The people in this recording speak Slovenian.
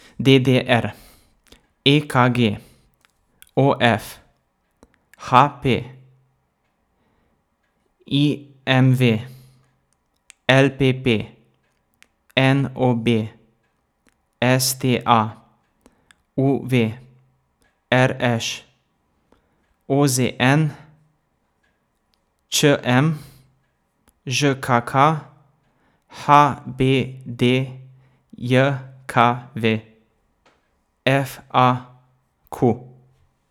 D D R; E K G; O F; H P; I M V; L P P; N O B; S T A; U V; R Š; O Z N; Č M; Ž K K; H B D J K V; F A Q.